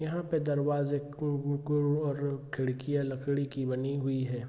यहाँ पे दरवाज़े और खिड़कियाँ लकड़ी की बनी हुई है।